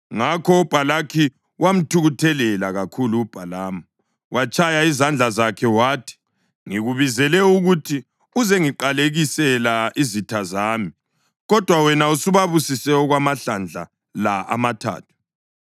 Ngakho uBhalaki wamthukuthelela kakhulu uBhalamu. Watshaya izandla zakhe wathi, “Ngikubizele ukuthi uzengiqalekisela izitha zami, kodwa wena usubabusise okwamahlandla la amathathu.